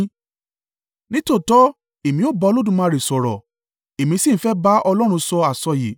Nítòótọ́ èmi ó bá Olódùmarè sọ̀rọ̀, èmi sì ń fẹ́ bá Ọlọ́run sọ àsọyé.